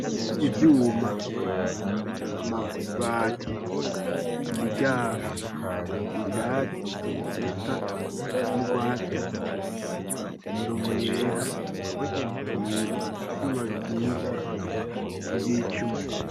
Ivyuma, amabati, imiryango, ivyatsi bisa n'urwatsi, imirongo yera ivyuma bikitse, ibicu.